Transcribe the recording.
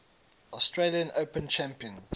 australian open champions